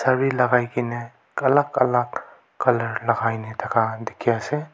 sare lakai kaena alak alla colour lakai na thaka dikhiase.